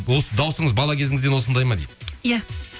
осы дауысыңыз бала кезіңізден осындай ма дейді иә